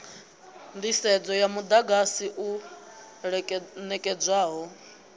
nḓisedzo ya muḓagasi u ṋekedzwaho